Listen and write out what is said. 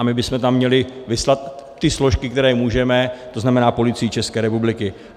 A my bychom tam měli vyslat ty složky, které můžeme, to znamená Policii České republiky.